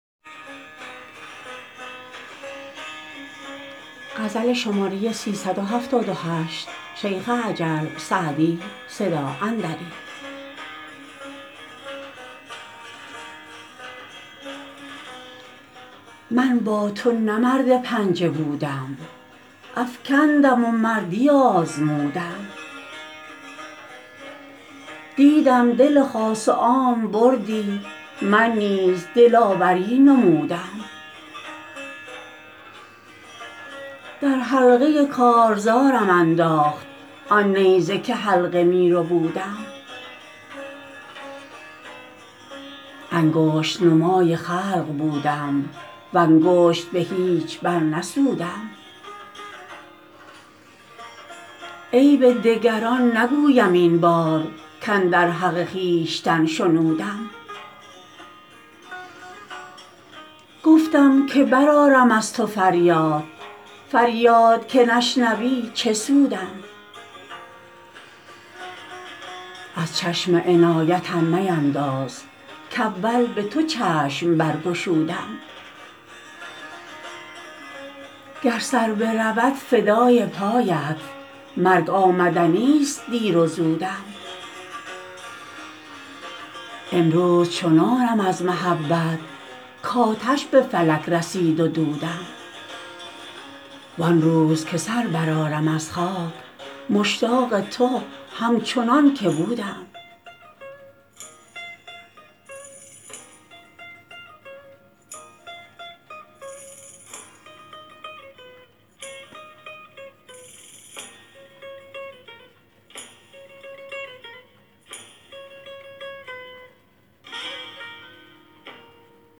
من با تو نه مرد پنجه بودم افکندم و مردی آزمودم دیدم دل خاص و عام بردی من نیز دلاوری نمودم در حلقه کارزارم انداخت آن نیزه که حلقه می ربودم انگشت نمای خلق بودم و انگشت به هیچ برنسودم عیب دگران نگویم این بار کاندر حق خویشتن شنودم گفتم که برآرم از تو فریاد فریاد که نشنوی چه سودم از چشم عنایتم مینداز کاول به تو چشم برگشودم گر سر برود فدای پایت مرگ آمدنیست دیر و زودم امروز چنانم از محبت کآتش به فلک رسید و دودم وان روز که سر برآرم از خاک مشتاق تو همچنان که بودم